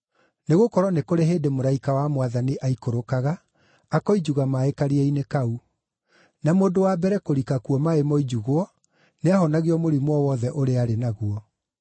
Nĩgũkorwo nĩ kũrĩ hĩndĩ mũraika wa Mwathani aikũrũkaga akoinjuga maaĩ karia-inĩ kau; na mũndũ wa mbere kũrika kuo maaĩ moinjugwo, nĩahonagio mũrimũ o wothe ũrĩa aarĩ naguo.)